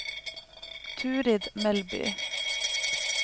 Turid Melby